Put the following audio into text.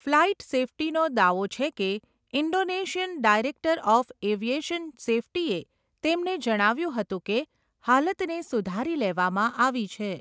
Flight સેફ્ટીનો દાવો છે કે ઇન્ડોનેશિયન ડાયરેક્ટર ઓફ એવિએશન સેફ્ટીએ તેમને જણાવ્યુંં હતું કે, હાલતને સુધારી લેવામાં આવી છે.